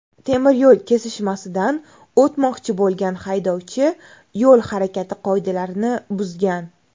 Temiryo‘l kesishmasidan o‘tmoqchi bo‘lgan haydovchi yo‘l harakati qoidalarini buzgan.